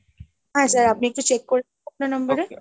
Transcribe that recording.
হ্যাঁ sir আপনি একটু check করে নিন আপনার number এ?